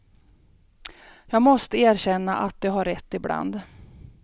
Jag måste erkänna att de har rätt ibland.